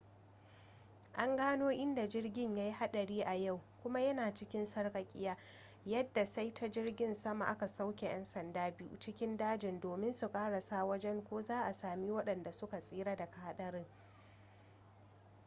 an gano inda jirgin yayi hadari a yau kuma ya na cikin sarkakiya yadda sai ta jirgin sama aka sauke yan sanda biyu cikin dajin domin su karasa wajen ko za'a sami wadanda su ka tsira daga hadarin